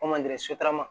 sotarama